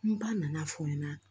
N ba nana fɔ n ɲɛna